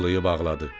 Qucaqlayıb ağladı.